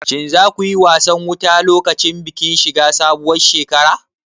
Shin za ku yi wasan wuta lokacin bikin shiga sabuwar shekara?